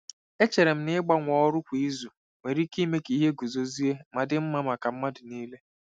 Echere m na ịgbanwe ọrụ kwa izu nwere ike ime ka ihe guzozie ma dị mma maka mmadụ niile.